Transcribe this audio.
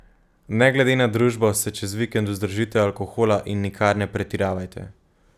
Ne glede na družbo se čez vikend vzdržite alkohola in nikar ne pretiravajte.